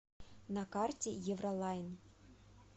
на карте евролайн